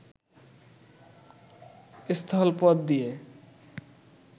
স্থলপথ দিয়ে